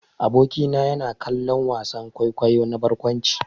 Aboki na yana kallon wasan kwaikwayo na barkwanci.